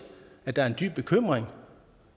at der også er en dyb bekymring